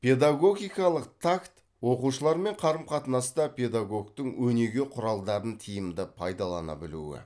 педагогикалық такт оқушылармен қарым қатынаста педагогтың өнеге құралдарын тиімді пайдалана білуі